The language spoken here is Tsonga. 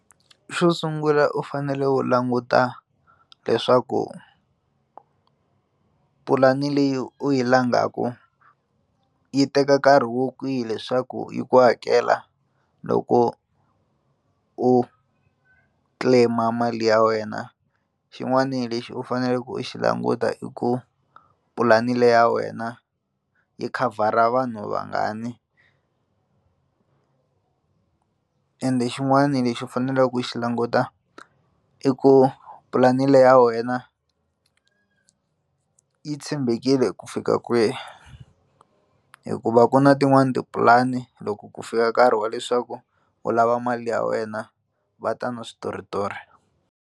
Xo sungula u fanele u languta leswaku pulani leyi u yi langaka yi teka nkarhi wo kwihi leswaku yi ku hakela loko u claim-a mali ya wena xin'wana lexi u faneleke u xi languta i ku pulani le ya wena yi khavhara vanhu vangani ende xin'wana lexi u faneleke ku xi languta i ku pulani le ya wena yi tshembekile ku fika kwihi hikuva ku na tin'wani tipulani loko ku fika nkarhi wa leswaku u lava mali ya wena va ta ni switoritori.